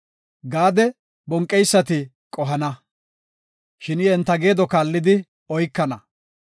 “Gaade, bonqeysati qohana; shin I enta geedo kaallidi oykana.